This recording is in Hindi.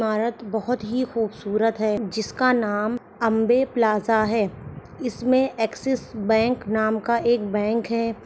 भारत बहुत ही खुबसूरत है जिसका नाम अम्बे प्लाजा है इसमे एक्सिक्स बैंक नाम का एक बैंक है |